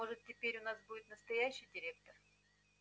может теперь у нас будет настоящий директор